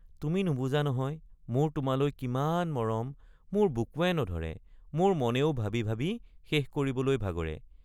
তুমি নুবুজা নহয় মোৰ তোমালৈ কিমান মৰম মোৰ বুকুৱে নধৰে মোৰ মনেও ভাবি ভাবি শেষ কৰিবলৈ ভাগৰে।